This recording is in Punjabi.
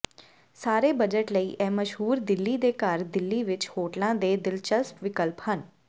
ਸਾਰੇ ਬਜਟ ਲਈ ਇਹ ਮਸ਼ਹੂਰ ਦਿੱਲੀ ਦੇ ਘਰ ਦਿੱਲੀ ਵਿੱਚ ਹੋਟਲਾਂ ਦੇ ਦਿਲਚਸਪ ਵਿਕਲਪ ਹਨ